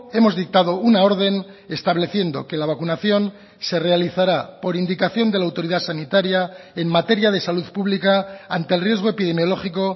hemos dictado una orden estableciendo que la vacunación se realizará por indicación de la autoridad sanitaria en materia de salud pública ante el riesgo epidemiológico